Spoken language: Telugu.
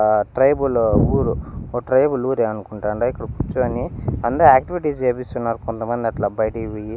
అహ్ ట్రైబు లో ఊరు ఓ ట్రైబ్ ఊరే అనుకుంటాండా ఇక్కడ కూర్చొని అంద ఆక్టివిటీస్ చేపిస్తున్నారు కొంతమందట్లా బయటికిపోయ్యి.